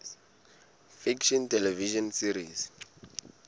fiction television series